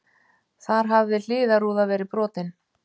Þar hafði hliðarrúða verið brotin